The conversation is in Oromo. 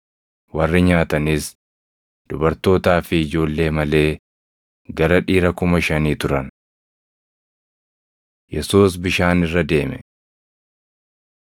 Warri nyaatanis dubartootaa fi ijoollee malee gara dhiira kuma shanii turan. Yesuus Bishaan irra Deeme 14:22‑33 kwf – Mar 6:45‑51; Yoh 6:15‑21 14:34‑36 kwf – Mar 6:53‑56